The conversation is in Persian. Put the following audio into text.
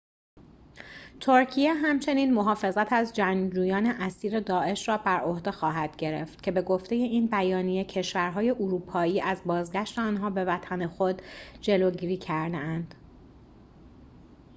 ترکیه همچنین محافظت از جنگجویان اسیر داعش را بر عهده خواهد گرفت که به گفته این بیانیه کشور‌های اروپایی از بازگشت آنها به وطن خود جلوگیری کرده‌اند